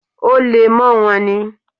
Ó le mọ́ wọn ní.